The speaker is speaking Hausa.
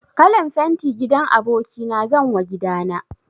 Kalan fenti gidan aboki na zanwa gida na.